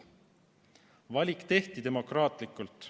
Valik tehti demokraatlikult.